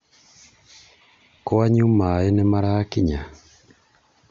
Kwanyu maĩ nĩmarakinya?